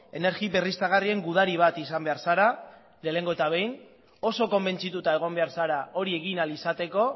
energi berriztagarrien gudari bat izan behar zara lehengo eta behin oso konbentzituta egon behar zara hori egin ahal izateko